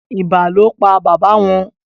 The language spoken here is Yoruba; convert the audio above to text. ibà ló pá baba wón.